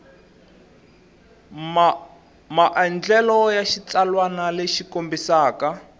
maandlalelo ya xitsalwana lexi kombisaka